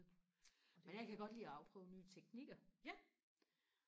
men jeg kan godt lide og afprøve nye teknikker